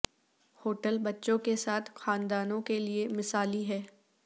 hotel بچوں کے ساتھ خاندانوں کے لئے مثالی ہے